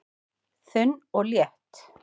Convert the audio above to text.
Þunn og létt